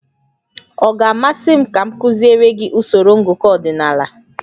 Ọ ga-amasị m ka m kuziere gị usoro ngụkọ ọdịnala?